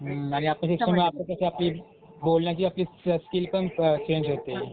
हं आपली जी आपली जी आपण कसं बोलण्याची आपली स्कीलपण अ, चेंज होते.